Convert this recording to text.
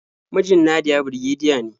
Mijin Nadiya birgediya ne.